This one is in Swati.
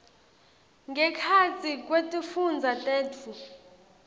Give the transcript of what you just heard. ngekhatsi kwetifundza tetfu